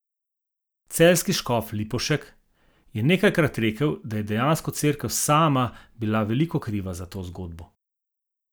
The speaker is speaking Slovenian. Celjski škof Lipovšek je nekajkrat rekel, da je dejansko cerkev sama bila veliko kriva za to zgodbo...